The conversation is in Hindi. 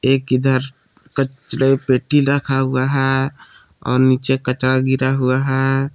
एक इधर कचड़े पेटी रखा हुआ है और नीचे कचड़ा गिरा हुआ है।